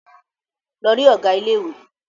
Lọ rí Ọ̀gá ilé ìwé!